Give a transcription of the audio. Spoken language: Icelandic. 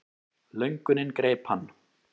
Löngunin greip hann.